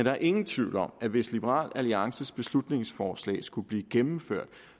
er ingen tvivl om at hvis liberal alliances beslutningsforslag skulle blive gennemført